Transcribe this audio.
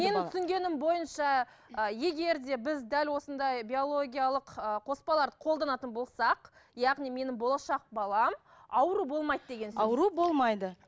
менің түсінгенім бойынша ы егер де біз дәл осындай биологиялық ы қоспаларды қолданатын болсақ яғни менің болашақ балам ауру болмайды деген сөз ауру болмайды